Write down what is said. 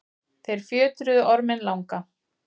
þeir fjötruðu orminn langa